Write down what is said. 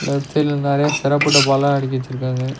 Left சைட்ல நெறைய சிறப்பு டப்பாலா அடிக்கி வெச்சிருக்காங்க.